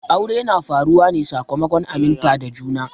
Aure na faruwa ne sakamakon aminta da juna.